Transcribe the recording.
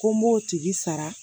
Ko n b'o tigi sara